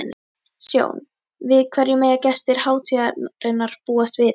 Sjón, við hverju mega gestir hátíðarinnar búast við í ár?